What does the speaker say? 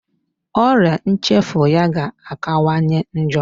Ọria nchefu ya ga-akawanye njọ.